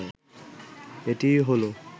এটিই হলো